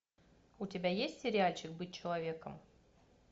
у тебя есть сериальчик быть человеком